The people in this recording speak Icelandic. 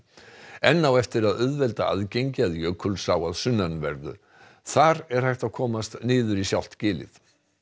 enn á eftir að auðvelda aðgengi að Jökulsá að sunnanverðu þar er hægt að komast niður í sjálft gilið